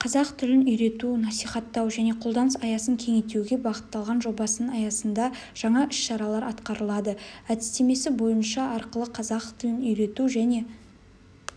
қазақ тілін үйрету насихаттау және қолданыс аясын кеңейтуге бағытталған жобасының аясында жаңа іс-шаралар атқарылады әдістемесі бойынша арқылы қазақ тілін үйрету және